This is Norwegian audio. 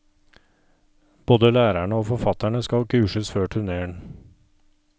Både lærerne og forfatterne skal kurses før turnéen.